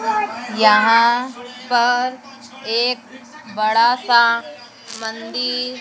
यहां पर एक बड़ा सा मंदिर--